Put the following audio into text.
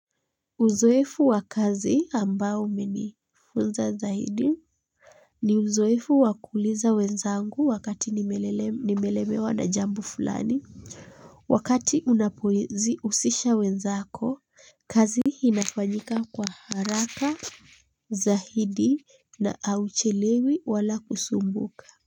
Uzoefu wa kazi ambao umenifunza zaidi ni uzoefu wakuuliza wenzangu wakati nimelemewa na jambo fulani wakati unapousisha wenzako, kazi inafanyika kwa haraka zahidi na hauchelewi wala kusumbuka.